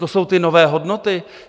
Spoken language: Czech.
To jsou ty nové hodnoty?